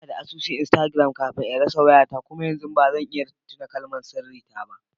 Ina da asusun Instagram kafin in rasa wayata kuma yanzu ba zan iya tuna kalmar sirri ta ba.